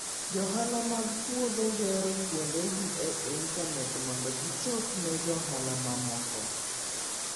Johala mag puodho gero kuondegi e intanet mondo gichop ne johala mamoko.